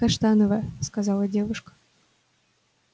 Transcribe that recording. каштановая сказала девушка